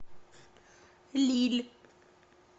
лилль